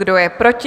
Kdo je proti?